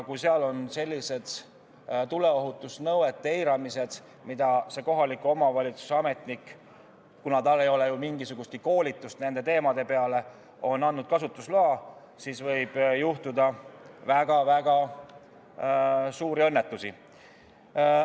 Kui seal eiratakse tuleohutusnõudeid, mille kohta see kohaliku omavalitsuse ametnik – kuna tal ei ole ju mingisugust koolitust nendel teemadel – on andnud kasutusloa, siis võib juhtuda väga-väga suuri õnnetusi.